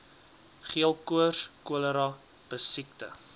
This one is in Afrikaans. geelkoors cholera pessiekte